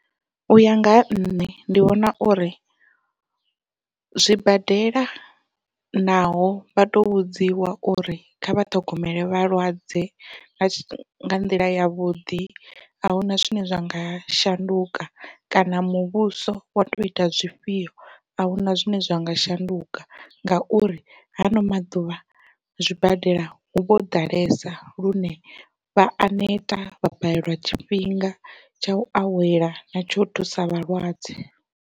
Uya nga ha nṋe ndi vhona uri zwibadela naho vha to vhudziwa uri kha vha ṱhogomele vhalwadze nga nḓila yavhuḓi ahuna zwine zwa nga shanduka, kana muvhuso wa to ita zwifhio ahuna zwine zwa nga shanduka ngauri ha ano maḓuvha zwibadela huvho ḓalesa lune vha a neta vha balelwa tshifhinga tsha u awela na tsho u thusa vhalwadze.